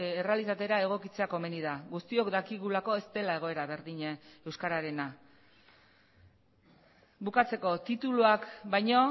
errealitatera egokitzea komeni da guztiok dakigulako ez dela egoera berdina euskararena bukatzeko tituluak baino